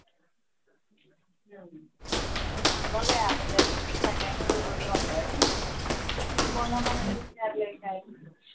बघूया अगोदर सगळ्यांशी बोलू आपण तू कोणा कोणाला विचारले काय,